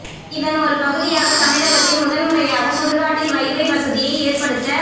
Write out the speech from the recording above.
இதன் ஒரு பகுதியாக தமிழகத்தில் முதன் முறையாக சுடுகாட்டில் வைபை வசதியை ஏற்படுத்த